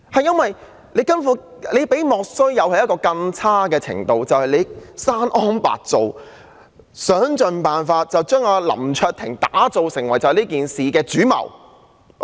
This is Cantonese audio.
這項議案比"莫須有"還要差，根本是"生安白造"，想盡辦法將林卓廷議員打造成為這件事的主謀。